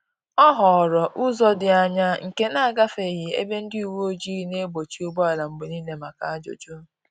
Ọ họọrọ ụzọ dị anya nke na-agafeghị ebe ndị uweojii na-egbochi ụgbọala mgbe niile maka ajụjụ